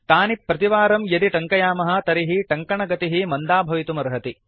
तानि प्रतिवारं यदि टङ्कयामः तर्हि टङ्कनगतिः मन्दा भवितुमर्हति